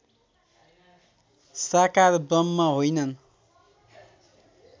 साकार ब्रह्म होइनन्